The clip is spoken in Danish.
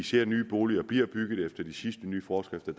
sige at nye boliger bliver bygget efter de sidste nye forskrifter